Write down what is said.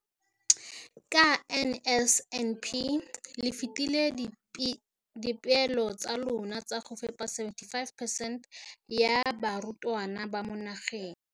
Ka NSNP le fetile dipeelo tsa lona tsa go fepa masome a supa le botlhano a diperesente ya barutwana ba mo nageng.